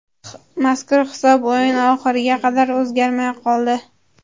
Mazkur hisob o‘yin oxiriga qadar o‘zgarmay qoldi.